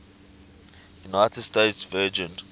united states virgin